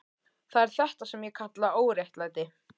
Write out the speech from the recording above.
Það er þetta sem ég kalla óréttlæti.